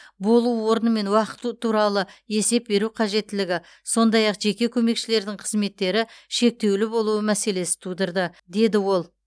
болу орны мен уақыты туралы есеп беру қажеттілігі сондай ақ жеке көмекшілердің қызметтері шектеулі болуы мәселесі тудырды деді ол